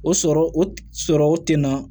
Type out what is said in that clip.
O sɔrɔ o sɔrɔ o ten na